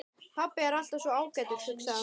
Pabbi er alltaf svo ágætur, hugsaði hann.